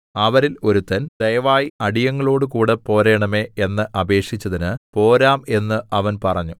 അവരിൽ ഒരുത്തൻ ദയവായി അടിയങ്ങളോടുകൂടെ പോരേണമേ എന്ന് അപേക്ഷിച്ചതിന് പോരാം എന്ന് അവൻ പറഞ്ഞു